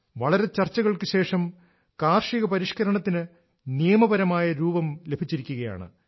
വളരെ ചർച്ചകൾക്ക് ശേഷം കാർഷിക പരിഷ്ക്കരണത്തിനു നിയമപരമായ രൂപം ലഭിച്ചിരിക്കുകയാണ്